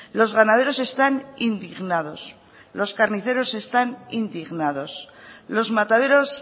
los ganaderos están indignados los carniceros están indignados los mataderos